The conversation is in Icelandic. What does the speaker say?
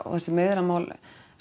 þessi meiðyrðamál